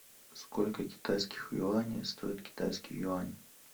сколько китайских юаней стоит китайский юань